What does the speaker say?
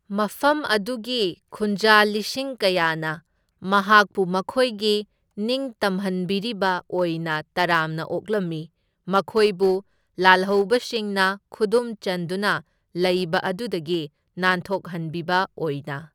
ꯃꯐꯝ ꯑꯗꯨꯒꯤ ꯈꯨꯟꯖꯥ ꯂꯤꯁꯤꯡ ꯀꯌꯥꯅ ꯃꯍꯥꯛꯄꯨ ꯃꯈꯣꯢꯒꯤ ꯅꯤꯡꯇꯝꯍꯟꯕꯤꯔꯤꯕ ꯑꯣꯏꯅ ꯇꯔꯥꯝꯅ ꯑꯣꯛꯂꯝꯃꯤ, ꯃꯈꯣꯢꯕꯨ ꯂꯥꯜꯍꯧꯕꯁꯤꯡꯅ ꯈꯨꯗꯨꯝ ꯆꯟꯗꯨꯅ ꯂꯩꯕ ꯑꯗꯨꯗꯒꯤ ꯅꯥꯟꯊꯣꯛꯍꯟꯕꯤꯕ ꯑꯣꯢꯅ꯫